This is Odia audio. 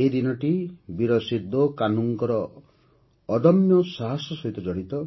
ଏହି ଦିନଟି ବୀର ସିନ୍ଧୋ କାହ୍ନୁଙ୍କ ଅଦମ୍ୟ ସାହସ ସହିତ ଜଡ଼ିତ